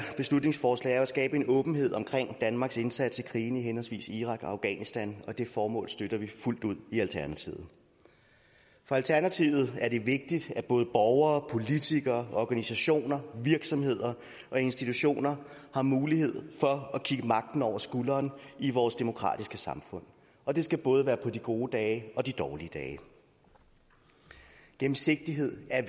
beslutningsforslag er at skabe en åbenhed omkring danmarks indsats i krigene i henholdsvis irak og afghanistan og det formål støtter vi fuldt ud i alternativet for alternativet er det vigtigt at både borgere politikere organisationer virksomheder og institutioner har mulighed for at kigge magten over skulderen i vores demokratiske samfund og det skal både være på de gode dage og de dårlige dage gennemsigtighed er